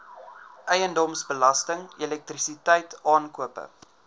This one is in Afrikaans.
eiendomsbelasting elektrisiteit aankope